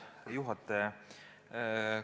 Austatud juhataja!